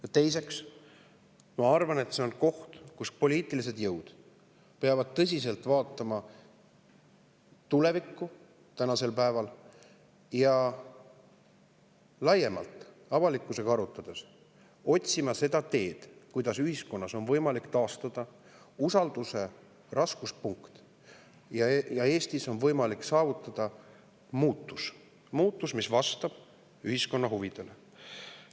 Ja teiseks, ma arvan, et see on koht, kus poliitilised jõud peavad tõsiselt vaatama tulevikku ja laiemalt avalikkusega arutades otsima seda teed, kuidas ühiskonnas on võimalik taastada usalduse raskuspunkt ja kuidas Eestis on võimalik saavutada muutus, mis vastab ühiskonna huvidele.